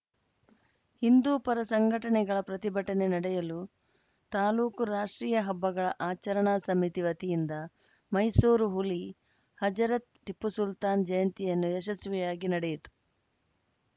ಹಿಂದೂಪರ ಸಂಘಟನೆಗಳ ಪ್ರತಿಭಟನೆ ನಡೆಯಲು ತಾಲೂಕು ರಾಷ್ಟ್ರೀಯ ಹಬ್ಬಗಳ ಆಚರಣಾ ಸಮಿತಿ ವತಿಯಿಂದ ಮೈಸೂರು ಹುಲಿ ಹಜರತ್‌ ಟಿಪ್ಪು ಸುಲ್ತಾನ್‌ ಜಯಂತಿಯನ್ನು ಯಶಸ್ವಿಯಾಗಿ ನಡೆಯಿತು